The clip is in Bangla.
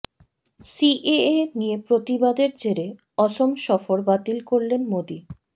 সিএএ নিয়ে প্রতিবাদের জেরে অসম সফর বাতিল করলেন মোদী